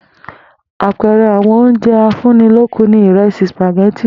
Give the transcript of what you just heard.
Àpe̩e̩re̩ àwo̩n oúnje̩ afúnnilókun ni ìre̩sì, sìpàgé̩tì